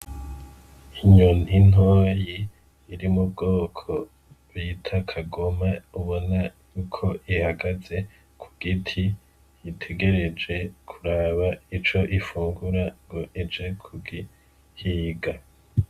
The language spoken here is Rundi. Inyoni ntoyi iri mubwoko bita kagoma ubona ko ihagaze kugiti, itegereje kuraba ico ufungura ngo ije kugihiga.